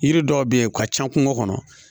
Yiri dɔw be yen u ka ca kungo kɔnɔ